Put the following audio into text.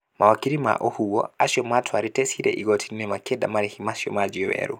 Mawakiri ma ohũo acio matwarĩte ciira igooti-inĩ makĩenda marehi macio majio werũ.